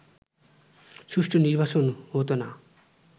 সুষ্ঠু নির্বাচন হতোনা